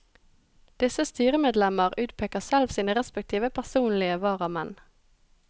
Disse styremedlemmer utpeker selv sine respektive personlige varamenn.